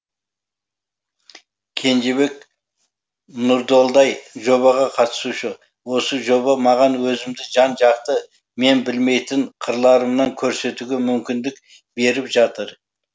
кенжебек нұрдолдай жобаға қатысушы осы жоба маған өзімді жан жақты мен білмейтін қырларымнан көрсетуге мүмкіндік беріп жатыр